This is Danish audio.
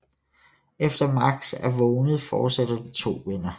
Efter Max er vågnet forsætter de to venner